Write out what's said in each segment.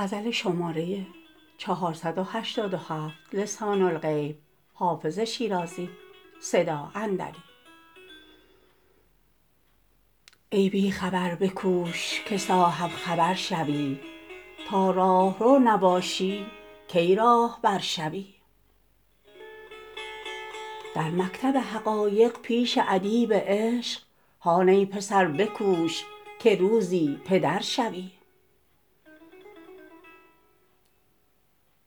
ای بی خبر بکوش که صاحب خبر شوی تا راهرو نباشی کی راهبر شوی در مکتب حقایق پیش ادیب عشق هان ای پسر بکوش که روزی پدر شوی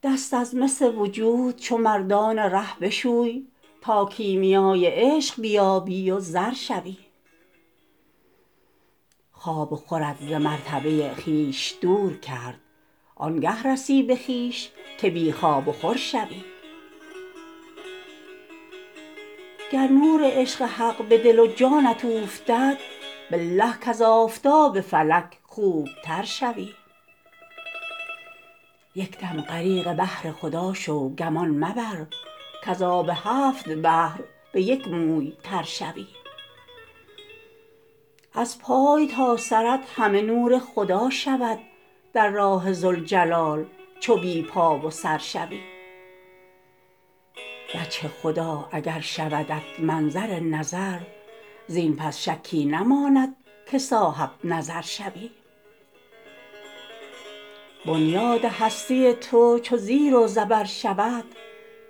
دست از مس وجود چو مردان ره بشوی تا کیمیای عشق بیابی و زر شوی خواب و خورت ز مرتبه خویش دور کرد آن گه رسی به خویش که بی خواب و خور شوی گر نور عشق حق به دل و جانت اوفتد بالله کز آفتاب فلک خوب تر شوی یک دم غریق بحر خدا شو گمان مبر کز آب هفت بحر به یک موی تر شوی از پای تا سرت همه نور خدا شود در راه ذوالجلال چو بی پا و سر شوی وجه خدا اگر شودت منظر نظر زین پس شکی نماند که صاحب نظر شوی بنیاد هستی تو چو زیر و زبر شود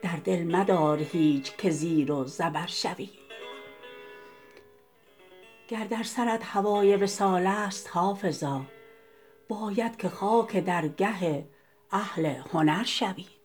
در دل مدار هیچ که زیر و زبر شوی گر در سرت هوای وصال است حافظا باید که خاک درگه اهل هنر شوی